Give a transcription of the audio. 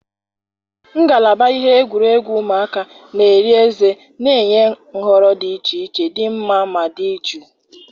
ngalaba ihe egwuregwu ụmụaka na-eri ezé na-enye nhọrọ dị iche iche dị mma ma dị jụụ.